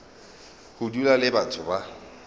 go dula le batho ba